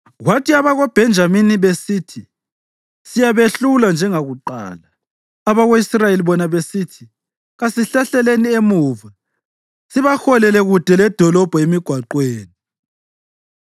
Kwathi abakoBhenjamini besithi, “Siyabehlula njengakuqala,” abako-Israyeli bona besithi, “Kasihlehleleni emuva sibaholele kude ledolobho emigwaqweni.”